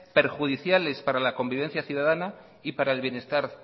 perjudiciales para la convivencia ciudadana y para el bienestar